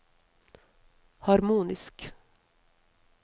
harmonisk